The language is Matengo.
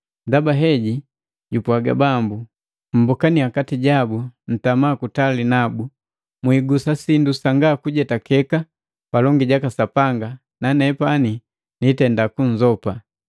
Ndaba heji jupwaaga Bambu, “Mmbokaniya kati jabu ntama kutali nabu, mwiigusa sindu sanga kujetakeka palongi jaka Sapanga, nanepani nitenda kunzopa.